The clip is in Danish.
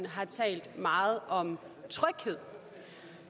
har talt meget om tryghed